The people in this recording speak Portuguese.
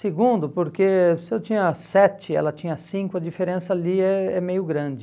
Segundo, porque se eu tinha sete, ela tinha cinco, a diferença ali é é meio grande.